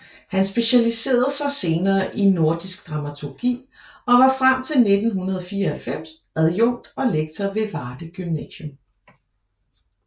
Han specialiserede sig senere i nordisk dramaturgi og var frem til 1994 adjunkt og lektor ved Varde Gymnasium